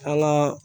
An ka